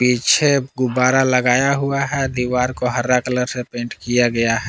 पीछे गुब्बारा लगाया हुआ है। दीवार को हरा कलर से पेंट किया गया है।